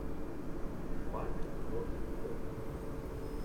барби рок принцесса